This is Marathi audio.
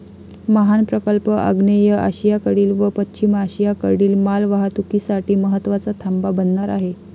मिहान प्रकल्प आग्नेय आशियाकडील व पश्चिम आशियाकडील मालवाहतुकीसाठी महत्वाचा थांबा बनणार आहे.